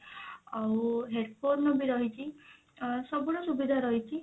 ଆଉ headphone ବି ରହିଛି ଅ ସବୁ ର ସୁବିଧା ରହିଛି